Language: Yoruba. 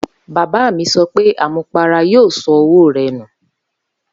Baba mi so pe amumupara yoo so owo re nu.